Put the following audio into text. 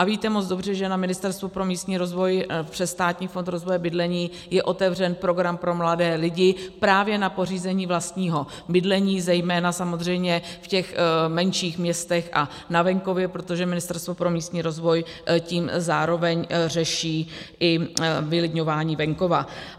A víte moc dobře, že na Ministerstvu pro místní rozvoj přes Státní fond rozvoje bydlení je otevřen program pro mladé lidi právě na pořízení vlastního bydlení, zejména samozřejmě v těch menších městech a na venkově, protože Ministerstvo pro místní rozvoj tím zároveň řeší i vylidňování venkova.